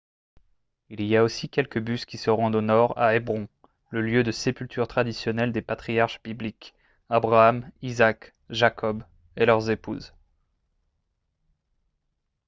il y a aussi quelques bus qui se rendent au nord à hébron le lieu de sépulture traditionnel des patriarches bibliques abraham isaac jacob et leurs épouses